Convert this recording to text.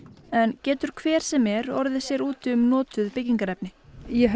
getur hver sem er orðið sér úti um notað byggingarefni ég held